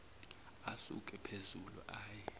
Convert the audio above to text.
asuke phezulu aye